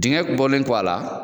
Dengɛ bɔlen kɔ a la